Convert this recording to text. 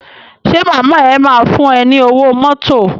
Ṣé màmá ẹ máa fún ẹ ní owó mọ́tò.